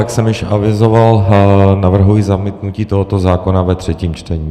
Jak jsem již avizoval, navrhuji zamítnutí tohoto zákona ve třetím čtení.